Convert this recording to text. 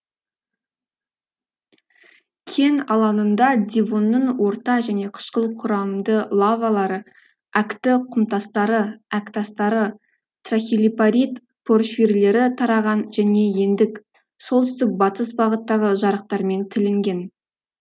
кен алаңында девонның орта және қышқыл құрамды лавалары әкті құмтастары әктастары трахилипарит порфирлері тараған және ендік солтүстік батыс бағыттағы жарықтармен тілінген